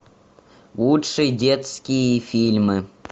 лучшие детские фильмы